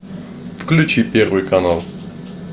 включи первый канал